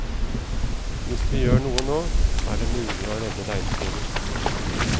Hvis vi gjør noe nå, er det mulig å redde regnskogen.